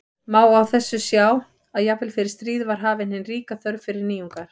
Má á þessu sjá að jafnvel fyrir stríð var hafin hin ríka þörf fyrir nýjungar.